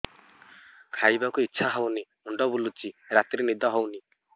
ଖାଇବାକୁ ଇଛା ହଉନି ମୁଣ୍ଡ ବୁଲୁଚି ରାତିରେ ନିଦ ହଉନି